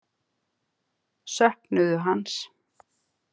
Söknuðu hans.